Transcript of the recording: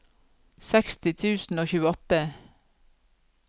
seksti tusen og tjueåtte